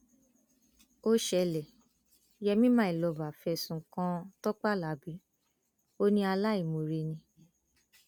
ó ṣẹlẹ yèmí mylover fẹsùn kan tọpẹ alábi ò ní aláìmoore ni